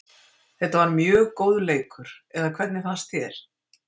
Þetta var mjög góður leikur eða hvernig fannst þér?